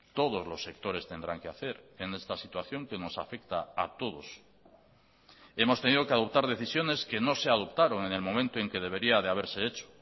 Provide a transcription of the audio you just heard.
todos los sectores tendrán que hacer en esta situación que nos afecta a todos hemos tenido que adoptar decisiones que no se adoptaron en el momento en que debería de haberse hecho